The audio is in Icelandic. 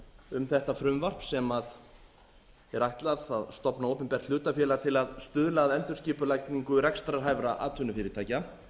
um þetta frumvarp sem er ætlað að stofna opinbert hlutafélag til að stuðla að endurskipulagningu rekstrarhæfra atvinnufyrirtækja